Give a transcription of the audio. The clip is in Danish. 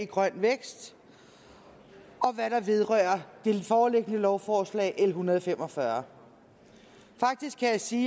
grøn vækst og hvad der vedrører det foreliggende lovforslag l en hundrede og fem og fyrre faktisk kan jeg sige